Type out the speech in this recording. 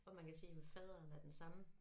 Hvor man kan se at faderen er den samme